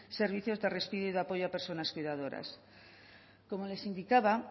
servicios de respiro y apoyo a personas cuidadoras como les indicaba